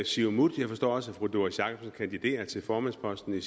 siumut jeg forstår også at fru doris jakobsen kandiderer til formandsposten i